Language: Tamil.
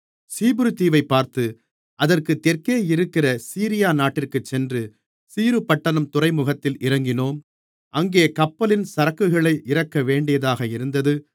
சீப்புரு தீவைப் பார்த்து அதற்கு தெற்கே இருக்கிற சீரியா நாட்டிற்குச் சென்று தீருபட்டணத் துறைமுகத்தில் இறங்கினோம் அங்கே கப்பலின் சரக்குகளை இறக்கவேண்டியதாக இருந்தது